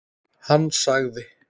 Hann sagði